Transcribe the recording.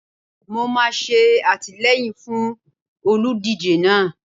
Mo máa ṣe àtìleyìn fún olùdíje náà.